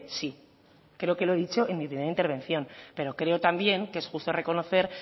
sí creo que lo he dicho en mi primera intervención pero creo también que es justo reconocer